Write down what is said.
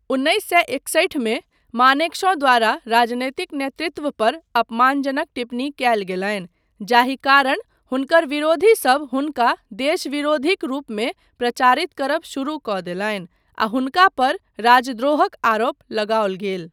उन्नैस सए एकसठि मे मानेकशॉ द्वार राजनैतिक नेतृत्व पर अपमानजनक टिप्पणी कयल गेलनि, जाहि कारण हुनकर विरोधी सब हुनका देशविरोधीक रूपमे प्रचारित करब शुरू कऽ देलनि आ हुनका पर राजद्रोहक आरोप लगाओल गेल।